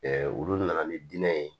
olu nana ni diinɛ ye